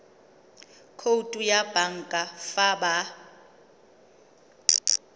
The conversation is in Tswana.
khoutu ya banka fa ba